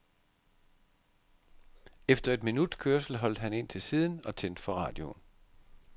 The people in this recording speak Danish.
Efter et minuts kørsel holdt han ind til siden og tændte for radioen.